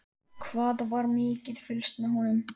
Hvað var mikið fylgst með honum?